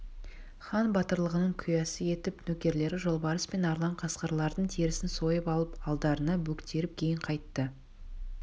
хан батырлығының куәсі етіп нөкерлері жолбарыс пен арлан қасқырлардың терісін сойып алып алдарына бөктеріп кейін қайтты